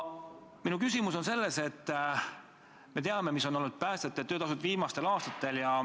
Me teame, missugune on olnud päästjate töötasu viimastel aastatel.